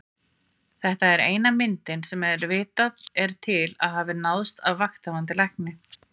Þetta er eina myndin sem vitað er til að hafa náðst af Vakthafandi Lækni.